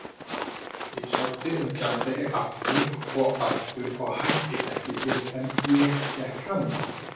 Ég sótti um gjaldeyri aftur og aftur og hætti ekki fyrr en ég fékk hann.